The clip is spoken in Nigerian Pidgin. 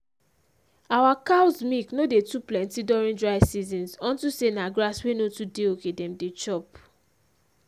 our cows milk no dey too plenty during dry seasons unto say na grass wey no too dey okay dem dey chop